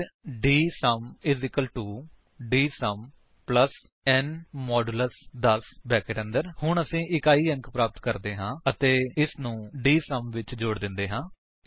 ਫਿਰ DSUM DSUM ਨ 160 10 ਹੁਣ ਅਸੀ ਇਕਾਈ ਅੰਕ ਪ੍ਰਾਪਤ ਕਰਦੇ ਹਾਂ ਅਤੇ ਇਸਨੂੰ ਡੀਐਸਯੂਐਮ ਵਿੱਚ ਜੋੜ ਦਿੰਦੇ ਹਾਂ